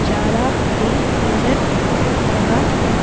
चारा भी नजर आह रहा है।